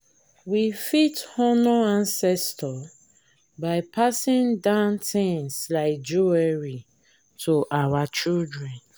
we fit honour ancestor by passing down things like jewelry to our children